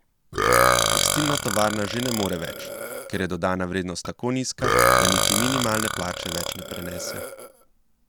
Tekstilna tovarna že ne more več, ker je dodana vrednost tako nizka, da niti minimalne plače več ne prenese.